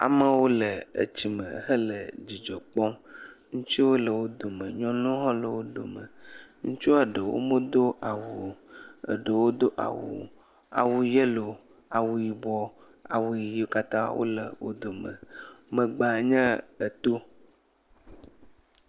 Amewo le etsi me hele dzidzɔ kpɔm. Ŋutsuwo le wo dome. Nyɔnuwo hã le wo dome. Ŋutsua ɖewo medo awu o. Eɖewo do awu. Awu yelo. Awu yibɔ. Awu ɣiiwo katã wole wo dome. Megbea nye eto.